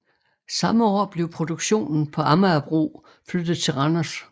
Samme år blev produktionen på Amagerbro flyttet til Randers